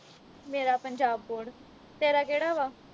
ਮੇਰਾ ਪੰਜਾਬ ਬੋਰਡ ਤੇਰਾ ਕਿਹੜਾ ਵਾ